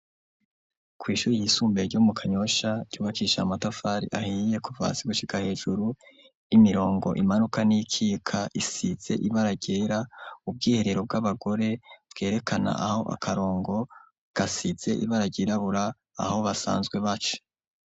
Kwishuri yisumbuye yo mukanyosha ryubakishije amatafari ahiye, kuva hasi gushika hejuru, imirongo imanuka n'iyikika isize ibara ryera , ubwiherero bw'abagore bwerekana aho akarongo gasize ibara ryirabura aho basanzwe baca